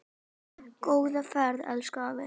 Góða ferð, elsku afi.